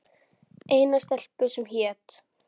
Eina stelpu, sem hét